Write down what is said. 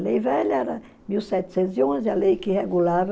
A lei velha era mil setecentos e onze, a lei que regulava...